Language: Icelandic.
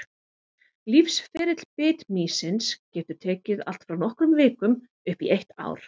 Lífsferill bitmýsins getur tekið allt frá nokkrum vikum upp í eitt ár.